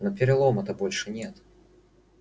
но перелома-то больше нет